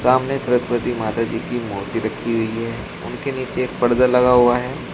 सामने सरस्वती माता जी की मूर्ति रखी हुई है उनके नीचे एक पर्दा लगा हुआ है।